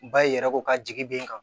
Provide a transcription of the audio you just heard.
Ba i yɛrɛ ko ka jigi b'i kan